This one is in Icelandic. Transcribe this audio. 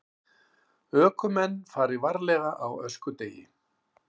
Ökumenn fari varlega á öskudegi